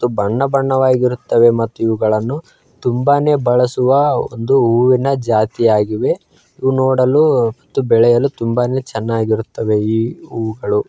ಇದು ಬಣ್ಣಬಣ್ಣವಾಗಿರುತ್ತದೆ ಮತ್ತು ಇವುಗಳನ್ನು ತುಂಬಾನೇ ಬಳಸುವ ಒಂದು ಹೂವಿನ ಜಾತಿಯಾಗಿದೆ ಇದು ನೋಡಲು ಬೆಳೆಯಲು ತುಂಬಾನೇ ಚೆನ್ನಾಗಿರುತ್ತವೆ ಈ ಹೂವುಗಳು.